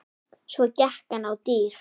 Svo gekk hann á dyr.